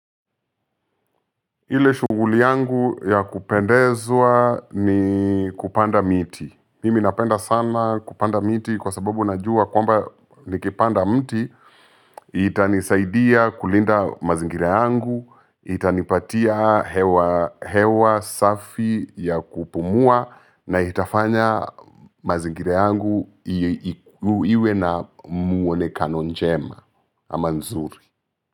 Ile shughuli yangu ya kupendezwa ni kupanda miti. Mimi napenda sana kupanda miti kwa sababu najua kwamba nikipanda mti, itanisaidia kulinda mazingira yangu, itanipatia hewa hewa safi ya kupumua na itafanya mazingira yangu iwe na muonekano njema ama nzuri.